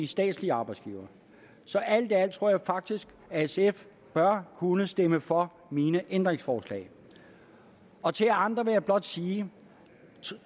statslige arbejdsgivere så alt i alt tror jeg faktisk at sf bør kunne stemme for mine ændringsforslag og til jer andre vil jeg blot sige